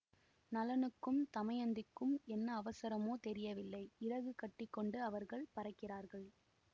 நளனுக்கும் தமயந்திக்கும் என்ன அவசரமோ தெரியவில்லை இறகு கட்டி கொண்டு அவர்கள் பறக்கிறார்கள்